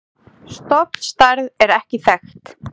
Stofnstærð er ekki þekkt.